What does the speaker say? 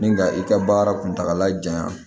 Ni ka i ka baara kuntala janya